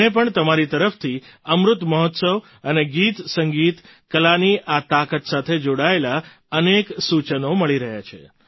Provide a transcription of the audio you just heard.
મને પણ તમારી તરફથી અમૃત મહોત્સવ અને ગીતસંગીતકલાની આ તાકાત સાથે જોડાયેલાં અનેક સૂચનો મળી રહ્યાં છે